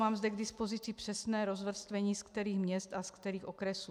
Mám zde k dispozici přesné rozvrstvení, ze kterých měst a ze kterých okresů.